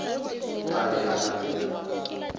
tla be a na le